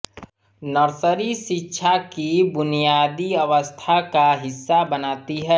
nursery शिक्षा की बुनियादी अवस्था का हिस्सा बनाती है